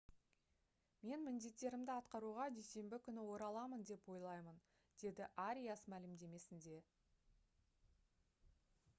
«мен міндеттерімді атқаруға дүйсенбі күні ораламын деп ойлаймын» - деді ариас мәлімдемесінде